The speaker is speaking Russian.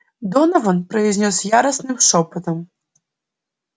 донован произнёс яростным шёпотом